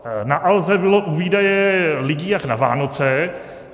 Na Alze bylo u výdeje lidí jak na Vánoce.